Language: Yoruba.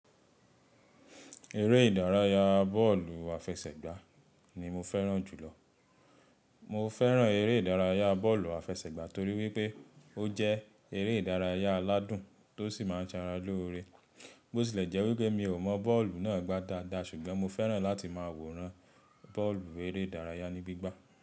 Eré ìdárayá bọ́ọ̀lù àfẹsẹ̀gbá ni mo fẹ́ràn jùlọ. Mo fẹ́ràn eré ìdárayá bọ́ọ̀lù àfẹsẹ̀gbá torí wípé ó jẹ́ eré ìdárayá aládùn tó sì máa ń ṣàràlọ́ore. Bó ti lè jẹ́ wípé mi ò mọ bọ́ọ̀lù náà gbá dáadáa ṣùgbọ́n mo fẹ́ràn láti máa wòran bọ́ọ̀lù eré ìdárayá ní gbígbá.